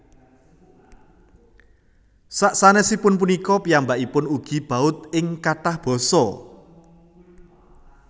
Sasanèsipun punika piyambakipun ugi baud ing kathah basa